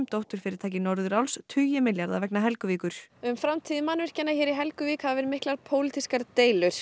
Aluminum dótturfyrirtæki Norðuráls tugi milljarða vegna Helguvíkur um framtíð mannvirkjanna hér í Helguvík hafa verið miklar pólitískar deilur